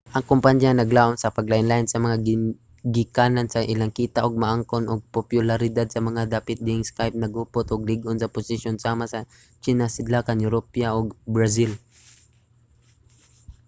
ang kompanya naglaum sa paglain-lain sa mga gigikanan sa ilang kita ug makaangkon og popularidad sa mga dapit diin ang skype naghupot og lig-on nga posisyon sama sa tsina sidlakan europa ug brazil